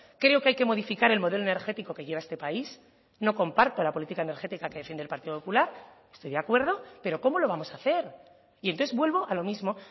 creo que hay que modificar el modelo energético que lleva este país no comparto la política energética que defiende el partido popular estoy de acuerdo pero cómo lo vamos a hacer y entonces vuelvo a lo mismo